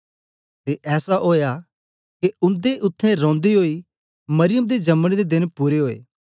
ते ऐसा ओया के उन्दे उत्थें रौंदे ओई मरियम दे जमने दे देन पूरे ओए